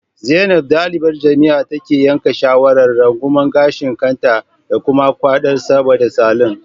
Zainab, dalibar jami'a, ta yanke shawarar rungumar gashin kanta da kuma gwada sabodon salon